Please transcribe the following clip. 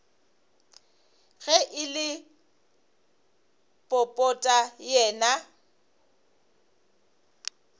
ge e le popota yena